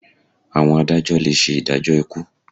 Àwọn adájọ́ le ṣe ìdájọ́ ikú.